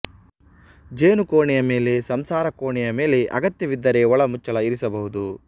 ಜೇನು ಕೋಣೆಯ ಮೇಲೆ ಸಂಸಾರ ಕೋಣೆಯ ಮೇಲೆ ಅಗತ್ಯವಿದ್ದರೆ ಒಳಮುಚ್ಚಳ ಇರಿಸಬಹುದು